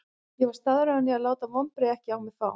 Ég var staðráðinn í að láta vonbrigðin ekki á mig fá.